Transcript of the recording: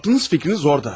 Ağlınız, fikriniz orada.